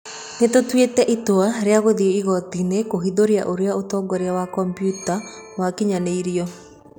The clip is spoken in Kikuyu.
Nĩ tũtwĩte itwa rĩa gũthĩĩ igotinĩ kũhithũria ũrĩa ũtongoria wa komputa wakinyanĩirirwo.